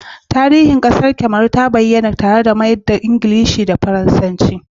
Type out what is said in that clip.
Tarihin harshen Kamaru ta bayyana tare da mayar da Ingilishi da Faransanci tare